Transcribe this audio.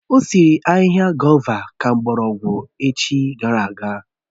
Ọ sịrị ahịhịa gòva ka mgbọrọgwụ echi gara aga